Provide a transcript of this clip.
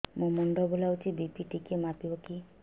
ମୋ ମୁଣ୍ଡ ବୁଲାଉଛି ବି.ପି ଟିକିଏ ମାପିବ କି